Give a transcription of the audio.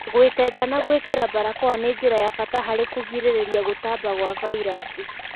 Gũĩtenga na gũĩkĩra mbarakoa nĩ njĩra ya bata harĩ kũgirĩrĩa gũtamba gwa vairaci